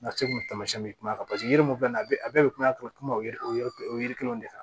Nasi kun taamasiyɛn bɛ kuma a kan paseke yiri mun fɛnɛ a bɛ a bɛɛ bɛ kuma yiri o yiri kelenw de kan